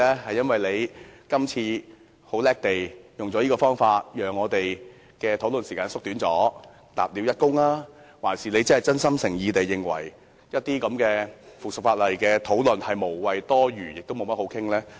是因為他這次聰明地利用這個方法縮短討論時間立了一功，還是因為他真心誠意地認為討論這項附屬法例是無謂、多餘和不值一哂？